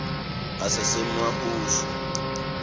asasemahushu